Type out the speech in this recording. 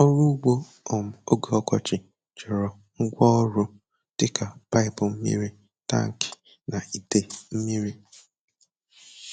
Ọrụ ugbo um oge ọkọchị chọrọ ngwa ọrụ dị ka paịpụ mmiri, tankị, na ite mmiri.